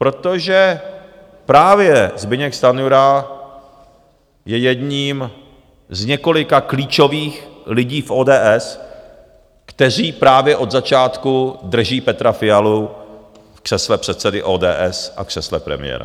Protože právě Zbyněk Stanjura je jedním z několika klíčových lidí v ODS, kteří právě od začátku drží Petra Fialu v křesle předsedy ODS a křesle premiéra.